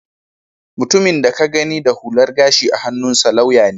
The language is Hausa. Mutumin da ka gani da hular gashi a hannunsa lauya ne